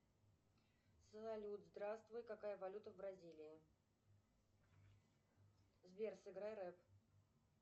салют здравствуй какая валюта в бразилии сбер сыграй рэп